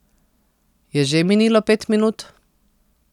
Je že minilo pet minut?